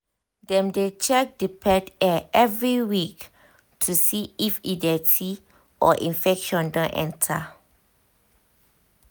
dem dey check the pet ear every week to see if e dirty or infection don enter